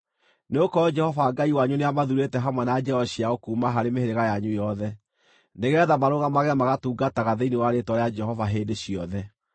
nĩgũkorwo Jehova Ngai wanyu nĩamathuurĩte hamwe na njiaro ciao kuuma harĩ mĩhĩrĩga yanyu yothe, nĩgeetha marũgamage magatungataga thĩinĩ wa Rĩĩtwa rĩa Jehova hĩndĩ ciothe.